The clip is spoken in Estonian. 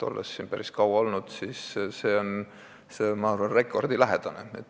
Olen siin päris kaua olnud ja arvan, et see on rekordilähedane tulemus.